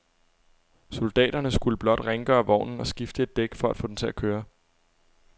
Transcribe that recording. Soldaterne skulle blot rengøre vognen og skifte et dæk for at få den til at køre.